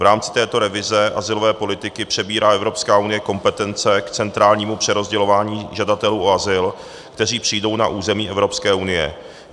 V rámci této revize azylové politiky přebírá Evropská unie kompetence k centrálnímu přerozdělování žadatelů o azyl, kteří přijdou na území Evropské unie.